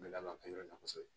Gɛlɛya fɛn yɔrɔ la kosɛbɛ